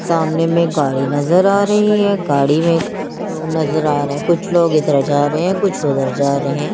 सामने में एक गाड़ी नज़र आ रही है गाड़ी में नज़र आ रहे हैं कुछ लोग इधर जा रहे हैं कुछ उधर जा रहे हैं।